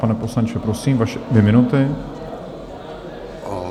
Pane poslanče, prosím, vaše dvě minuty.